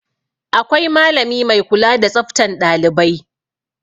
Akwai malami mai kula da tsaftan ɗailibai.